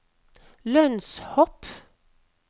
lønnshopp